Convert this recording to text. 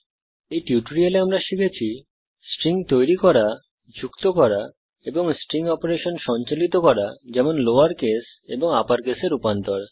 এই টিউটোরিয়ালে আমরা শিখেছি স্ট্রিংস তৈরী করা যুক্ত করা এবং স্ট্রিং অপারেশন সঞ্চালিত করা যেমন লোয়র কেস এবং আপর কেসে রূপান্তরণ